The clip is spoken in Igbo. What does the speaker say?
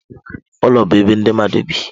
Ụlọ bụ ebe ndị mmadụ bi.